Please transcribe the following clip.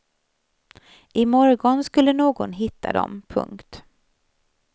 I morgon skulle någon hitta dem. punkt